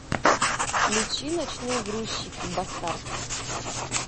включи ночные грузчики бастард